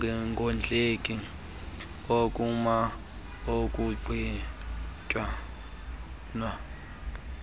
nokungondleki ukoma ukuqhinwa